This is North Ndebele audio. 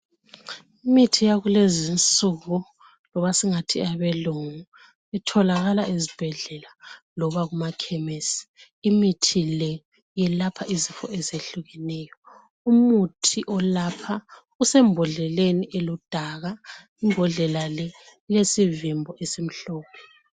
Imithi yakulezinsuku, loba singathi eyabelungu, itholakala ezibhedlela loba kumakhemesi. Imithi le yelapha izifo ezehlukeneyo. Umuthi olapha usembodleleni eludaka. Imbodlela le ilesivimbo esimhlophe.